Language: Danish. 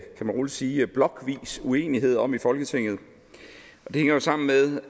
roligt sige blokvis uenighed om i folketinget og det hænger jo sammen med